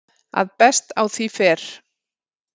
að best á því fer